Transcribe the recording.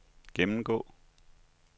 gennemgå